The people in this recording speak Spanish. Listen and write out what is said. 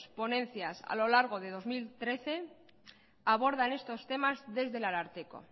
ponencias a lo largo de dos mil trece abordan estos temas desde el ararteko